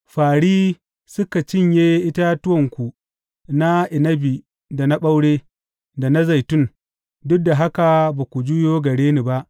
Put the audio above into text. Fāri suka cinye itatuwanku na inabi da na ɓaure, da na zaitun duk da haka ba ku juyo gare ni ba,